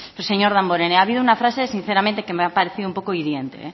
señor damborenea ha habido una frase sinceramente que me ha parecido un poco hiriente